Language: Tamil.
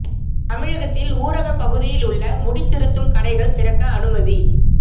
தமிழகத்தில் ஊரக பகுதியில் உள்ள முடி திருத்தும் கடைகள் திறக்க அனுமதி